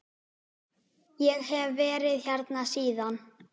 Ég hef verið hérna síðan.